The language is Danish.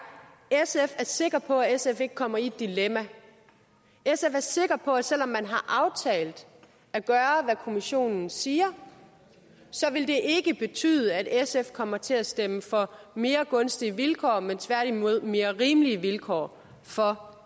sikker på at sf ikke kommer i et dilemma sf er sikker på at selv om man har aftalt at gøre hvad kommissionen siger så vil det ikke betyde at sf kommer til at stemme for mere gunstige vilkår men tværtimod mere rimelige vilkår for